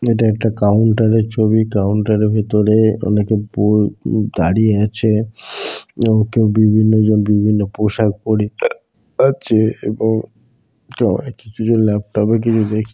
এটা একটা কাউন্টারের ছবি। কাউন্টারের ভেতরে অনেকে ব উ দাঁড়িয়ে আছে এবং কেউ বিভিন্ন জন বিভিন্ন পোশাক পরে আছে এবং কিছু জন ল্যাপটপে কিছু দেখ --